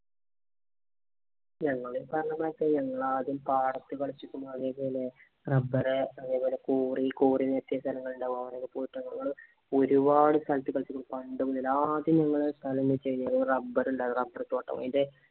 ഞങ്ങള് ഈ പറഞ്ഞമാതിരി ഞങ്ങള് ആദ്യം പാടത്ത് കളിച്ചേക്കണു. അതേപോലെ rubber അതേപോലെ quarry quarry നികത്തിയ സ്ഥലങ്ങളുണ്ടാവും. അവിടെ ഒക്കെ പോയിട്ട് ഒരു പാട് സ്ഥലത്ത് കളിച്ചേക്കുന്നു. പണ്ട് മുതല് ആദ്യം ഞങ്ങടെ കളി എന്ന് വച്ച് കഴിഞ്ഞാല് ഈ rubber ഉണ്ടാരുന്നു rubber തോട്ടം. അതിന്‍റെ